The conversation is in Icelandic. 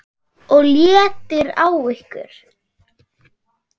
OG LÉTTIR Á YKKUR!